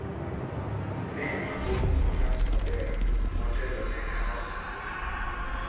ne ni ipong'o otas maber motelo ne kawo hola